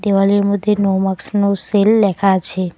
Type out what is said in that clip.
দেওয়ালের মধ্যে নো মাক্স নো সেল লেখা আছে।